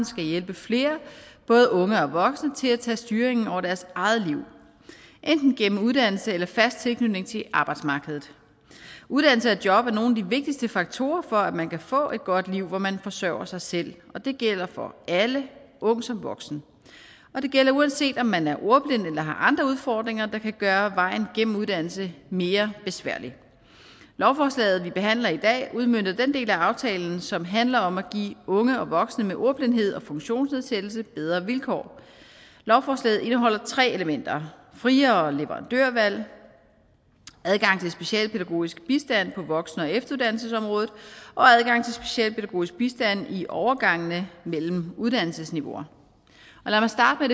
skal hjælpe flere både unge og voksne til at tage styringen over deres eget liv enten gennem uddannelse eller gennem fast tilknytning til arbejdsmarkedet uddannelse og job er nogle af de vigtigste faktorer for at man kan få et godt liv hvor man forsøger sig selv og det gælder for alle ung som voksen og det gælder uanset om man er ordblind eller har andre udfordringer der kan gøre vejen gennem uddannelse mere besværlig lovforslaget vi behandler i dag udmønter den del af aftalen som handler om at give unge og voksne med ordblindhed og funktionsnedsættelse bedre vilkår lovforslaget indeholder tre elementer friere leverandørvalg adgang til specialpædagogisk bistand på voksen og efteruddannelsesområdet og adgang til specialpædagogisk bistand i overgangen mellem uddannelsesniveauer lad mig starte